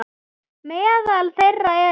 Meðal þeirra eru